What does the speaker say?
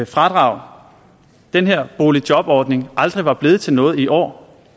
fradrag den her boligjobordning aldrig var blevet til noget i år